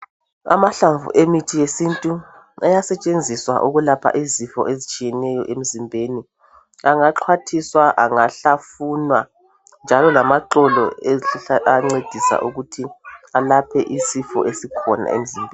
Amahlamvu emithi yesintu ayasetshenziswa ukulapha izifo ezitshiyeneyo emzimbeni angaxwathisa angahlafunwa njalo lamaxolo ezihlahla ancedisa ukuthi alaphe isifo esikhona emzimbeni.